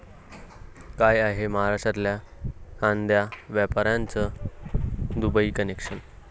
काय आहे महाराष्ट्रातल्या कांदा व्यापाऱ्याचं 'दुबई कनेक्शन'?